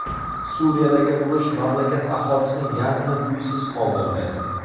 Suriyadagi urush mamlakat aholisining yarmini uysiz qoldirdi.